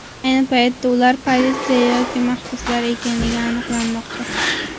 Ayni paytda ular politsiya yoki mahbuslar ekanligi aniqlanmoqda.